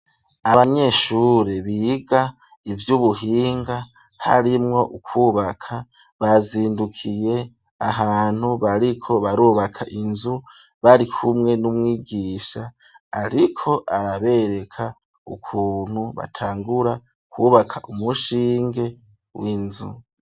Abanyeshuri biga ivy'ubuhinga harimwo kubaka bazindukiye ahantu bariko barubaka inzu bari kumwe n'umwigisha ariko arabereka ukuntu batangura kubaka umushinge w'inzu.